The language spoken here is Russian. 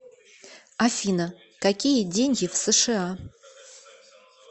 афина какие деньги в сша